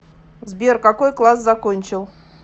сбер какой класс закончил